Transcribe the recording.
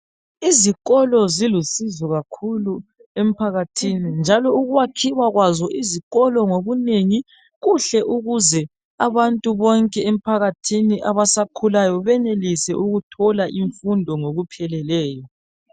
Izikolo zilusizo kakhulu emphakathini njalo ukwakhiwa kwazo izikolo ngobunengi kuhle ukuze abantu bonke emphakathini abasakhulayo benelise ukuthola imfundo ngokupheleleyo.